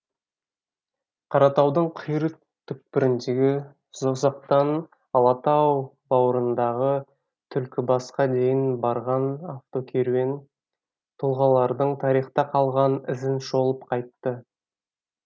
қаратаудың қиыр түкпіріндегі созақтан алатау баурындағы түлкібасқа дейін барған автокеруен тұлғалардың тарихта қалған ізін шолып қайтты